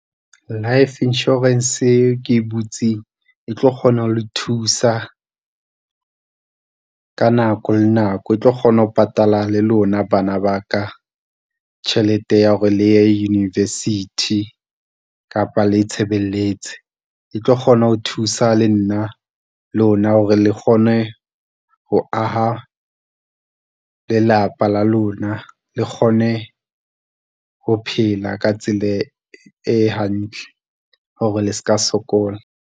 Life Insurance eo ke e butseng e tlo kgona ho le thusa ka nako le nako e tlo kgona ho patala le lona bana ba ka tjhelete ya hore le ye university kapa le itshebeletse. E tlo kgona ho thusa le nna, lona hore le kgone ho aha lelapa la lona le kgone ho phela ka tsela e hantle hore le seka sokola.